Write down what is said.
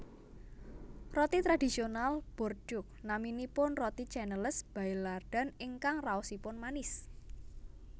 Roti tradisional Bordeaux naminipun roti Canneles Baillardan ingkang raosipun manis